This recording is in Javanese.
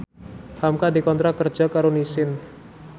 hamka dikontrak kerja karo Nissin